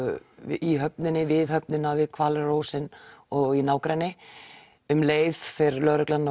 í höfninni við höfnina við og í nágrenni um leið fer lögreglan